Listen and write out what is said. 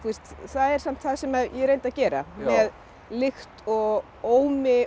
það er samt það sem ég reyndi að gera með lykt og ómi og